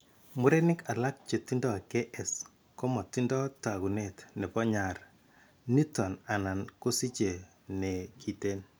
Murenik alak chetindo KS komatindo taakunet nebo nyar niiton anan kosiche ne kiten.